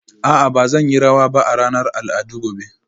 A'a ba zan yi rawa ba a ranar al'adu gobe